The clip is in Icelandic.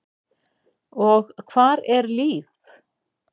Og hvar er Líf?